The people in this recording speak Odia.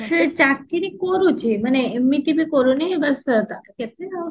ସେ ଚାକିରି କରୁଛି ମାନେ ଏମିତି ବି କରୁନି କି ବାସ